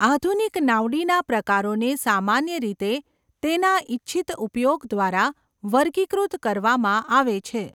આધુનિક નાવડીના પ્રકારોને સામાન્ય રીતે તેના ઇચ્છિત ઉપયોગ દ્વારા વર્ગીકૃત કરવામાં આવે છે.